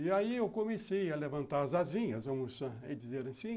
E aí eu comecei a levantar as asinhas, vamos dizer assim.